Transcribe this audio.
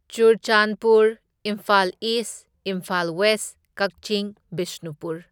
Churachandpur, Imphal East, Imphal West, Kakching, Bishnupur.